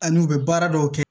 Ani u bɛ baara dɔw kɛ